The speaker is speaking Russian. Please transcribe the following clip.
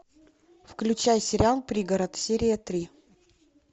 включай сериал пригород серия три